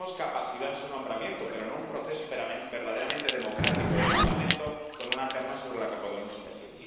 Pedimos capacidad en su nombramiento, pero en un proceso verdaderamente democrático del Parlamento con una terna sobre la que podamos elegir.